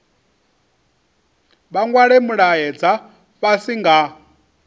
vha nwale mulaedza fhasi nga